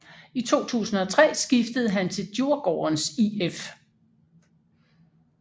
I 2003 skiftede han til Djurgårdens IF